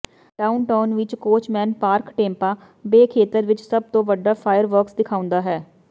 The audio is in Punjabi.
ਡਾਊਨਟਾਊਨ ਵਿਚ ਕੋਚਮੈਨ ਪਾਰਕ ਟੈਂਪਾ ਬੇ ਖੇਤਰ ਵਿਚ ਸਭ ਤੋਂ ਵੱਡਾ ਫਾਇਰ ਵਰਕਸ ਦਿਖਾਉਂਦਾ ਹੈ